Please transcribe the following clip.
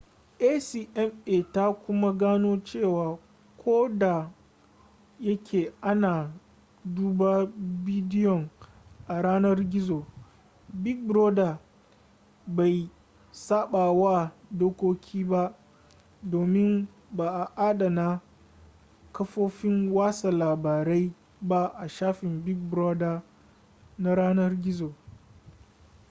acma ta kuma gano cewa ko da yake ana duba bidiyon a yanar gizo big brother bai sabawa dokoki ba domin ba a adana kafofin watsa labarai ba a shafin big brother na yanar gizo